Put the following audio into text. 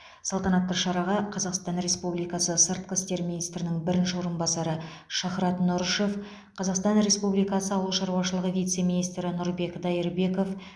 салтанатты шараға қазақстан республикасы сыртқы істер министрінің бірінші орынбасары шахрат нұрышев қазақстан республикасы ауыл шаруашылығы вице министрі нұрбек дайырбеков